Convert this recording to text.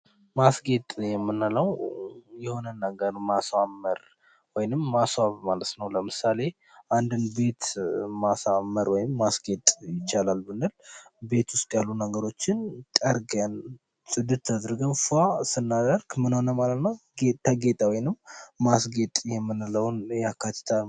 ማስጌጥ የምንለው የሆነን ነገር ማሳመር ወይንም ማስዋብ ማለት ነው። ለምሳሌ አንድን ቤት ማሳመር ወይንም ማስጌጥ ይቻላል ብንል ቤት ውስጥ ያሉ ነገሮችን ጠርገን ፅድት አድርገን ፏ ስናደርግ ምን ሆነ ማለት ነው ጌጥ ተጌጠ ወይንም ማስጌጥ የምንለውን ያካትታል።